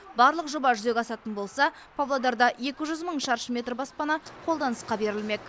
барлық жоба жүзеге асатын болса павлодарда екі жүз мың шаршы метр баспана қолданысқа берілмек